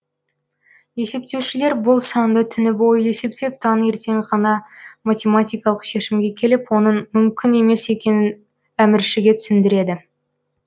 есептеушілер бұл санды түні бойы есептеп таңертең ғана математикалық шешімге келіп оның мүмкін емес екенін әміршіге түсіндіреді